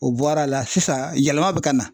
O bɔra a la sisan yɛlɛma bɛ ka na.